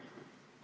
Jürgen Ligi, palun!